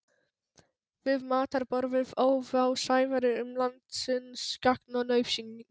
Við matarborðið óð á Sævari um landsins gagn og nauðsynjar.